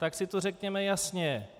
Tak si to řekněme jasně.